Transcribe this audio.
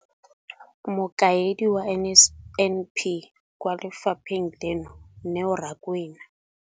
Mokaedi wa NSNP kwa lefapheng leno, Neo Rakwena.